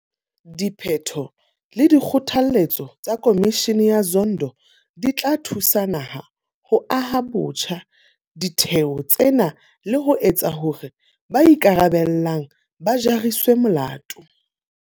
Diphetho le dikgothaletso tsa Khomishene ya Zondo di tla thusa naha ho aha botjha ditheo tsena le ho etsa hore ba ikarabellang ba jariswe molato.